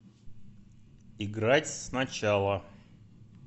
играть сначала